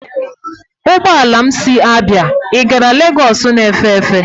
Ụgbọ ala m si Abia i gara lagos na-efe efe.